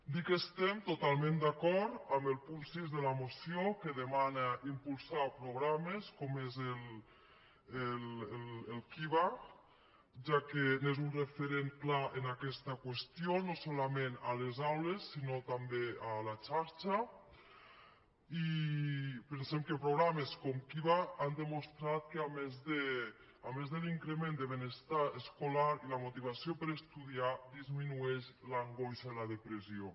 dir que estem totalment d’acord amb el punt sis de la moció que demana impulsar programes com és el kiva ja que és un referent clar en aquesta qüestió no solament a les aules sinó també a la xarxa i pensem que programes com kiva han demostrat que a més de l’increment de benestar escolar i la motivació per estudiar disminueixen l’angoixa i la depressió